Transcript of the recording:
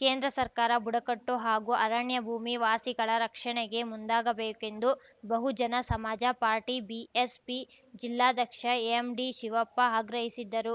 ಕೇಂದ್ರ ಸರ್ಕಾರ ಬುಡಕಟ್ಟು ಹಾಗೂ ಅರಣ್ಯಭೂಮಿ ವಾಸಿಗಳ ರಕ್ಷಣೆಗೆ ಮುಂದಾಗಬೇಕೆಂದು ಬಹುಜನ ಸಮಾಜ ಪಾರ್ಟಿ ಬಿಎಸ್‌ಪಿ ಜಿಲ್ಲಾಧ್ಯಕ್ಷ ಎಂ ಡಿ ಶಿವಪ್ಪ ಆಗ್ರಹಿಸಿದ್ದರು